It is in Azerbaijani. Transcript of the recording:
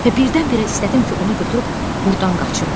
Və birdən-birə istədim ki, onu götürüb burdan qaçım.